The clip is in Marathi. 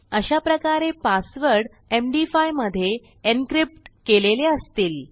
अशाप्रकारे पासवर्ड एमडी5 मधे एन्क्रिप्ट केलेले असतील